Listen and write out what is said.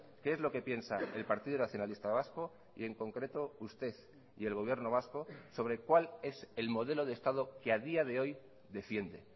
qué es lo que piensa el partido nacionalista vasco y en concreto usted y el gobierno vasco sobre cuál es el modelo de estado que a día de hoy defiende